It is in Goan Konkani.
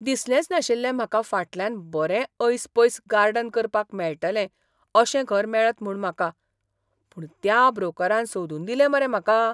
दिसलेंच नाशिल्लें म्हाका फाटल्यान बरें ऐसपैस गार्डन करपाक मेळटलें अशें घर मेळत म्हूण म्हाका. पूण त्या ब्रोकरान सोदून दिलें मरे म्हाका.